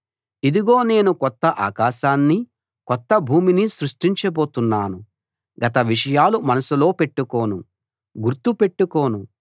ఇదిగో నేను కొత్త ఆకాశాన్నీ కొత్త భూమినీ సృష్టించబోతున్నాను గత విషయాలు మనసులో పెట్టుకోను గుర్తుపెట్టుకోను